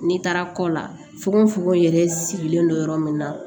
N'i taara kɔ la fugofugo yɛrɛ sigilen don yɔrɔ min na